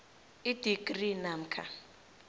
idigri namkha